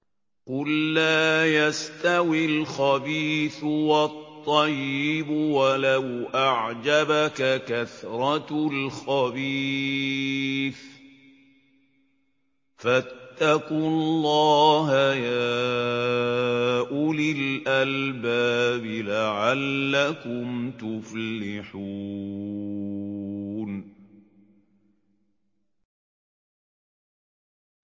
قُل لَّا يَسْتَوِي الْخَبِيثُ وَالطَّيِّبُ وَلَوْ أَعْجَبَكَ كَثْرَةُ الْخَبِيثِ ۚ فَاتَّقُوا اللَّهَ يَا أُولِي الْأَلْبَابِ لَعَلَّكُمْ تُفْلِحُونَ